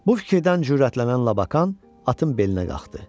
Bu fikirdən cürətlənən Labakan atın belinə qalxdı.